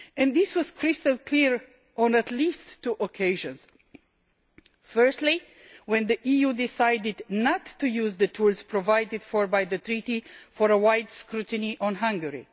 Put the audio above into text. This was crystal clear on at least two occasions firstly, when the EU decided not to use the tools provided for by the Treaty for a wide scrutiny on Hungary